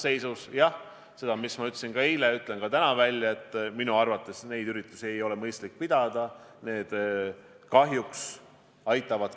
Kui inimene saab teada tulemuse, et tal ei ole probleemi, ta tuleb kodunt välja, aga probleem ehk ilmneb, ma ei tea, kuuendal, seitsmendal või kaheksandal päeval.